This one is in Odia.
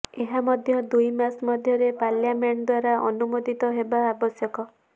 ଏହା ମଧ୍ୟ ଦୁଇମାସ ମଧ୍ୟରେ ପାର୍ଲିଆମେଣ୍ଟ ଦ୍ୱାରା ଅନୁମୋଦିତ ହେବା ଆବଶ୍ୟକ